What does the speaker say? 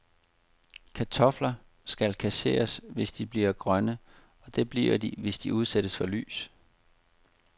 Kartofler skal kasseres, hvis de bliver grønne, og det bliver de, hvis de udsættes for lys.